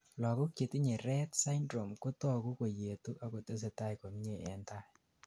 lagok chetinyei rett syndrome kotogu koyetu ak kotesetai komie en tai